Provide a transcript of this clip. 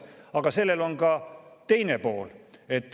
Aga sellel on ka teine pool.